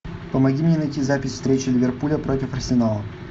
помоги мне найти запись встречи ливерпуля против арсенала